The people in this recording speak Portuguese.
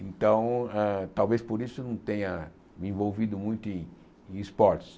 Então eh, talvez por isso eu não tenha me envolvido muito em em esportes.